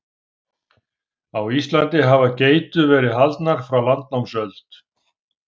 Á Íslandi hafa geitur verið haldnar frá landnámsöld.